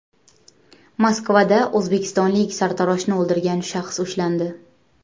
Moskvada o‘zbekistonlik sartaroshni o‘ldirgan shaxs ushlandi.